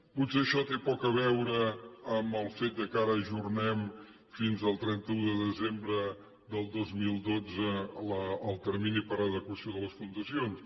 potser això té poc a veure amb el fet que ara ajornem fins al trenta un de desembre del dos mil dotze el termini per a adequació de les fundacions